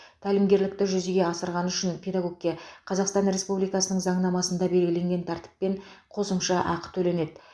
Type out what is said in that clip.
тәлімгерлікті жүзеге асырғаны үшін педагогке қазақстан республикасының заңнамасында белгіленген тәртіппен қосымша ақы төленеді